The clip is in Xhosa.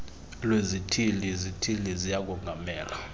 lwezithili izithili ziyakongamela